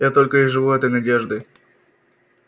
я только и живу этой надеждой